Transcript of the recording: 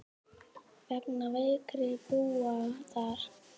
Er það að vonum.